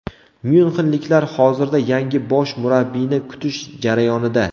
Myunxenliklar hozirda yangi bosh murabbiyni kutish jarayonida.